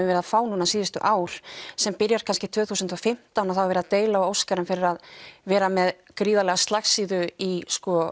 verið að fá núna síðustu ár sem byrjar kannski tvö þúsund og fimmtán og þá er verið að deila á Óskarinn fyrir að vera með gríðarlega slagsíðu í